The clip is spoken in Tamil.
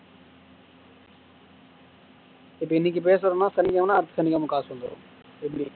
இப்ப இன்னைக்கு பேசுறோம்ன்னா சனிக்கிழமைன்னா அடுத்த சனிக்கிழமை காசு வந்துரும் எப்படி